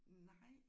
Nej